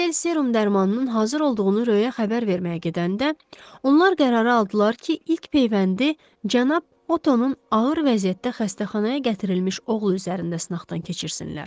Kostel serum dərmanının hazır olduğunu Röya xəbər verməyə gedəndə, onlar qərara aldılar ki, ilk peyvəndi cənab Otonun ağır vəziyyətdə xəstəxanaya gətirilmiş oğlu üzərində sınaqdan keçirsinlər.